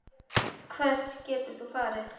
Hvert getur þú farið?